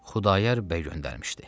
Xudayar bəy göndərmişdi.